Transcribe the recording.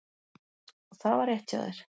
Og það var rétt hjá þér.